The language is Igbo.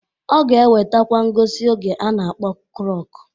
Ọ ga-ewetakwa ngosi oge a na-akpọ klọk.